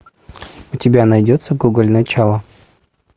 у тебя найдется гоголь начало